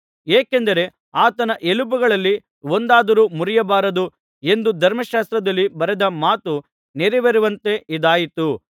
ಏಕೆಂದರೆ ಆತನ ಎಲುಬುಗಳಲ್ಲಿ ಒಂದನ್ನಾದರೂ ಮುರಿಯಬಾರದು ಎಂದು ಧರ್ಮಶಾಸ್ತ್ರದಲ್ಲಿ ಬರೆದ ಮಾತು ನೆರವೇರುವಂತೆ ಇದಾಯಿತು